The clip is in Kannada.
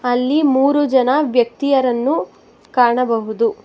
ಅಲ್ಲಿ ಮೂರು ಜನ ವ್ಯಕ್ತಿಯರನ್ನು ಕಾಣಬಹುದು.